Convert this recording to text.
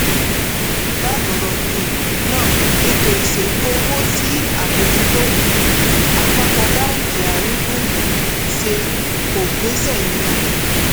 bákan um náà ètò ìṣèlú owó tí àbójútó um àpapọ̀ báńkì àárín gbùngbùn ṣe kò gbéṣẹ́ nínú fífi